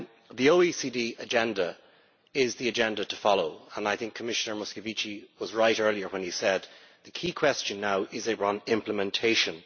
The OECD agenda is the agenda to follow and I think Commissioner Moscovici was right earlier when he said the key question now is on implementation'.